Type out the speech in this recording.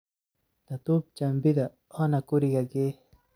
Dhadub jambidha oona kuriga ghee.